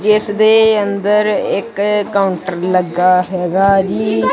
ਜਿਸ ਦੇ ਅੰਦਰ ਇੱਕ ਕਾਉੰਟਰ ਲੱਗਾ ਹੈਗਾ ਜੀ।